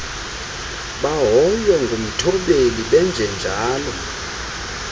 bahoywe ngumthobeli benjenjalo